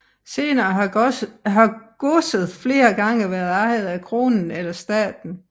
Senere har godset flere gange været ejet af kronen eller staten